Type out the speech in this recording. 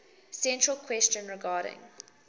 central question regarding